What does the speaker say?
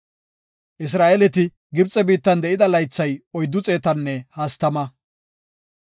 Isra7eeleti Gibxe biittan de7ida laythay oyddu xeetanne hastama.